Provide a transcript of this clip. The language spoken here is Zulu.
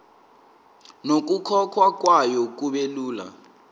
nokukhokhwa kwayo kubelula